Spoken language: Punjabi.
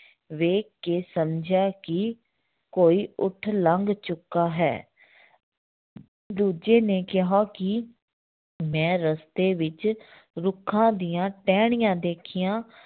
ਵੇਖ ਕੇ ਸਮਝਿਆ ਕਿ ਕੋਈ ਊਠ ਲੰਘ ਚੁੱਕਾ ਹੈ ਦੂਜੇ ਨੇ ਕਿਹਾ ਕਿ ਮੈਂ ਰਸਤੇ ਵਿੱਚ ਰੁੱਖਾਂ ਦੀਆਂ ਟਹਿਣੀਆਂ ਦੇਖੀਆਂ